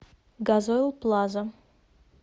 газойл плаза